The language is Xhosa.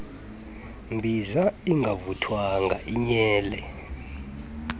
mbiza ingavuthwanga inyele